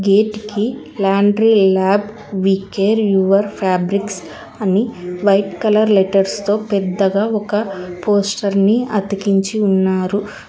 Gate కి laundry lab we care your fabrics అని white colour letters తో పెద్దగా ఒక పోస్టర్ని అతికించి ఉన్నారు.